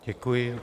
Děkuji.